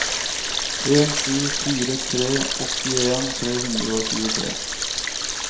en sju fire tre åttien tre hundre og tjuetre